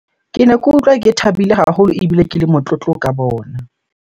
Kene ke utlwa ke thabile haholo ebile ke le motlotlo ka bona.